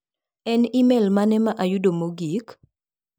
En imel mane ma ayudo mogik?